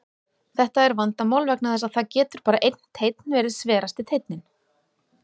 Þetta er vandamál vegna þess að það getur bara einn teinn verið sverasti teinninn.